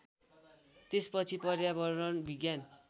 त्यसपछि पर्यावरण विज्ञान